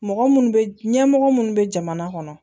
Mɔgɔ minnu bɛ ɲɛmɔgɔ minnu bɛ jamana kɔnɔ